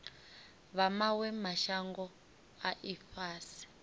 vha mawe mashango a ifhasi